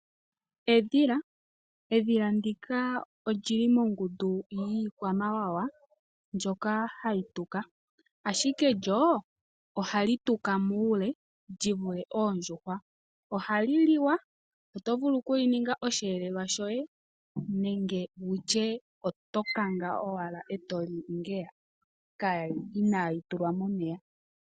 Edhila ndika oli li mongundu yiikwamawawa mbyoka hayi tuka, ashike lyo ohali tuka muule li vule oondjuhwa. Ohali liwa, oto vulu okuli ninga osheelelwa shoye nenge to kanga owala e to li ngeya inaali tulwa momeya.